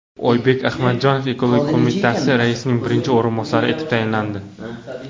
Oybek Adhamjonov ekologiya qo‘mitasi raisining birinchi o‘rinbosari etib tayinlandi.